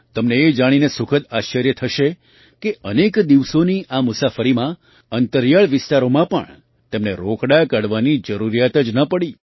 તમને એ જાણીને સુખદ આશ્ચર્ય થશે કે અનેક દિવસોની આ મુસાફરીમાં અંતરિયાળ વિસ્તારોમાં પણ તેમને રોકડા કાઢવાની જરૂરિયાત જ ન પડી